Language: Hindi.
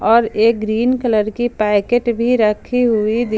और ए ग्रीन कलर की पैकेट भी रखी हुई--